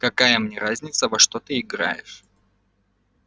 какая мне разница во что ты играешь